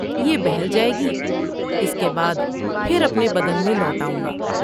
یہ بہل جاۓ گی اس کے بعد پھر اپنے بدن میں لوٹ آؤں گا ۔